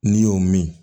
N'i y'o min